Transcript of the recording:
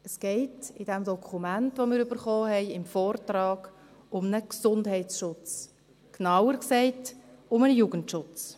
Es geht im Dokument, das wir erhalten haben, im Vortrag, um einen Gesundheitsschutz – genauer gesagt: um den Jugendschutz.